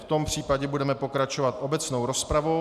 V tom případě budeme pokračovat obecnou rozpravou.